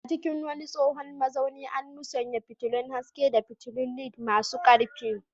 A cikin wani tsohon mazaunin, an musanya fitilun haske da fitulun LED masu ƙarfi.